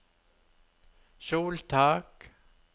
soltak